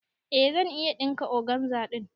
Eh zan iya ɗinka organza ɗin.